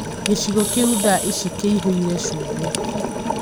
gĩcigo kĩu thaa ĩcĩ kĩihũire cumbĩ?